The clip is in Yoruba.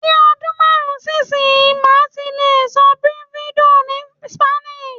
Ni ọdún márùn-ún sí ìsinyìí, màá ti lè sọ "Bienvenidos" ni Spanish